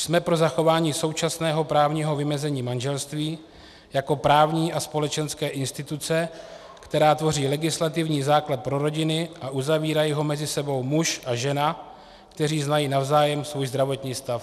Jsme pro zachování současného právního vymezení manželství jako právní a společenské instituce, která tvoří legislativní základ pro rodiny, a uzavírají ho mezi sebou muž a žena, kteří znají navzájem svůj zdravotní stav.